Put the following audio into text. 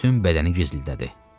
Bütün bədəni gizildədi.